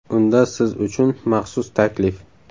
Unda siz uchun maxsus taklif!